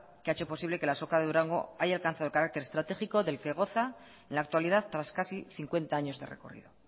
que ha hecho posible que la azoka de durango haya alcanzado el carácter estratégico del que goza en la actualidad tras casi cincuenta años de recorrido